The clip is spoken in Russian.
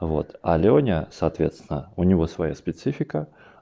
вот а лёня соответственно у него своя специфика